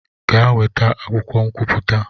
Gaa nweta akwụkwọ nkwupụta!